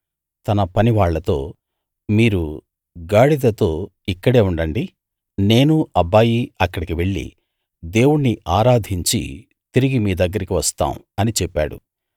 తన పనివాళ్ళతో మీరు గాడిదతో ఇక్కడే ఉండండి నేనూ అబ్బాయీ అక్కడికి వెళ్లి దేవుణ్ణి ఆరాధించి తిరిగి మీ దగ్గరికి వస్తాం అని చెప్పాడు